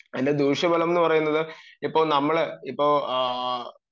അതിന്റെ ദൂഷ്യഫലങ്ങൾ എന്ന് പറയുന്നത് ഇപ്പൊ നമ്മൾ ഇപ്പൊ ആഹ്